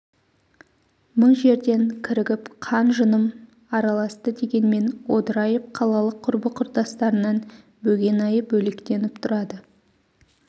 мың жерден кірігіп қан-жыным араласты дегенмен одырайып қалалық құрбы-құрдастарынан бөгенайы бөлектеніп тұрады